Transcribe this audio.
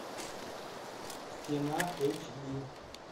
стена эйч ди